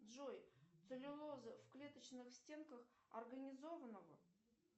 джой целлюлоза в клеточных стенках организованного